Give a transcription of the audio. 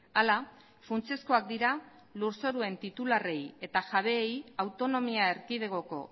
hala funtsezkoak dira lur zoruen titularrei eta jabeei autonomia erkidegoko